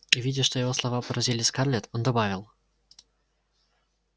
и видя что его слова поразили скарлетт он добавил